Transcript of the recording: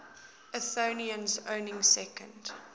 athenians owning second